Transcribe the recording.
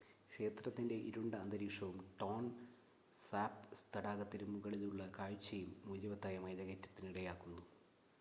ക്ഷേത്രത്തിൻ്റെ ഇരുണ്ട അന്തരീക്ഷവും ടോൺ സാപ്പ് തടാകത്തിനു മുകളിലുള്ള കാഴ്ചയും മൂല്യവത്തായ മലകയറ്റത്തിന് ഇടയാക്കുന്നു